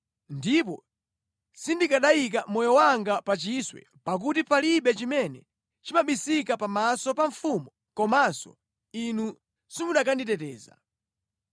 Ndipo sindikanayika moyo wanga pa chiswe pakuti palibe chimene chimabisika pamaso pa mfumu komanso inu simukanditeteza.”